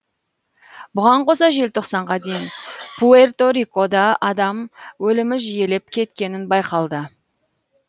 бұған қоса желтоқсанға дейін пуэрто рикода адам өлімі жиілеп кеткені байқалды